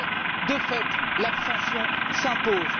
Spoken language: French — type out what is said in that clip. Alors, de fait, l'abstention s'impose.